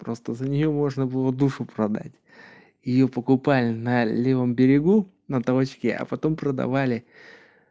просто за неё можно было душу продать её покупали на левом берегу на тросике а потом продавали